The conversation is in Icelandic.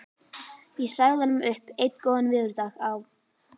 Ég sagði honum upp einn góðan veðurdag á